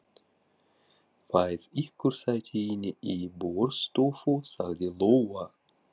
Fáið ykkur sæti inni í borðstofu, sagði Lóa.